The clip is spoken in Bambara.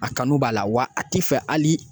A kanu b'a la wa a ti fɛ hali